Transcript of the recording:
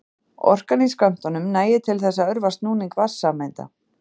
Orkan í skömmtunum nægir til þess að örva snúning vatnssameinda.